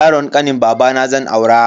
Yaron kanin babana zan aura.